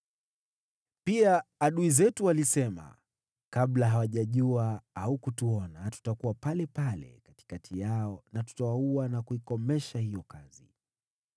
Pia adui zetu walisema, “Kabla hawajajua au kutuona, tutakuwa palepale katikati yao, na tutawaua na kuikomesha hiyo kazi.”